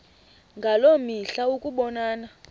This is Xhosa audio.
ngaloo mihla ukubonana